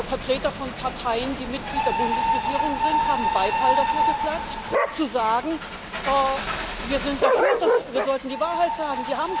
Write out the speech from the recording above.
Vertreter von Parteien, die Mitglied der Bundesregierung sind, haben Beifall dafür geklatscht, zu sagen Wir sind dafür, wir sollten die Wahrheit sagen.